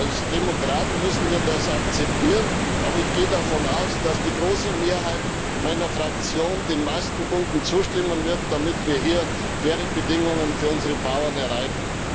Als Demokraten müssen wir das akzeptieren, aber ich gehe davon aus, dass die große Mehrheit meiner Fraktion den meisten Punkten zustimmen wird, damit wir faire Bedingungen für unsere Bauern erreichen.